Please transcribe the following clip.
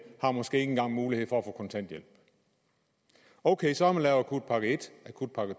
har måske ikke engang mulighed for at få kontanthjælp ok så har man lavet akutpakke i akutpakke